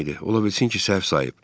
Ola bilsin ki, səhv sayıb.